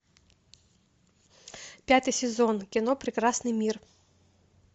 пятый сезон кино прекрасный мир